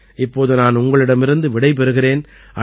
இப்போது நான் உங்களிடமிருந்து விடை பெறுகிறேன்